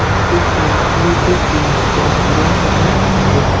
ওটি কংক্রিটের পিলার যা পুরোনো এবং ক্ষতিগ্রস্ত।